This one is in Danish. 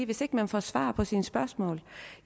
hvis ikke man får svar på sine spørgsmål